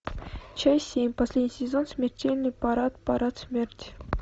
часть семь последний сезон смертельный парад парад смерти